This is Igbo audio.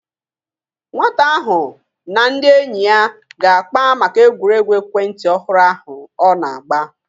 Nwata ahụ na ndị enyi ya ga-akpa maka egwuregwu ekwentị ọhụrụ ahụ ọ na-agba